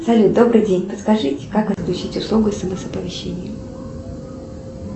салют добрый день подскажите как отключить услугу смс оповещения